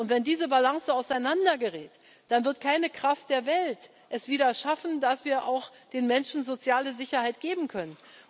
Wenn diese Balance auseinandergerät, dann wird keine Kraft der Welt es wieder schaffen, dass wir den Menschen soziale Sicherheit geben können.